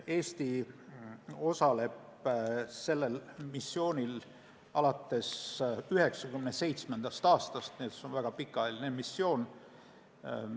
Eesti osaleb sellel missioonil alates 1997. aastast, seega on see väga pikaajaline missioon.